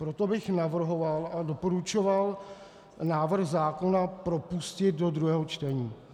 Proto bych navrhoval a doporučoval návrh zákona propustit do druhého čtení.